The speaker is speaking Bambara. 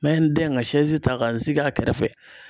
N bɛ n dɛn ka ta ka n sigi a kɛrɛfɛ.